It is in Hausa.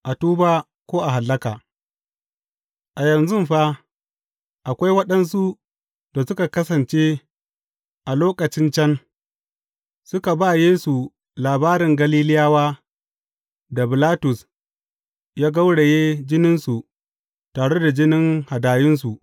A tuba ko a hallaka A yanzun fa, akwai waɗansu da suka kasance a lokacin can, suka ba Yesu labarin Galiliyawa da Bilatus ya gauraye jininsu tare da jinin hadayunsu.